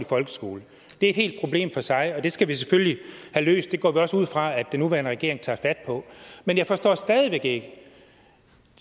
folkeskole det er et helt problem for sig og det skal vi selvfølgelig have løst det går vi også ud fra at den nuværende regering tager fat på men jeg forstår stadig væk ikke